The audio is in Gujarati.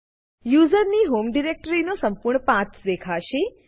યુઝરની હોમ ડિરેક્ટરીનો સંપૂર્ણ પાથ દેખાશે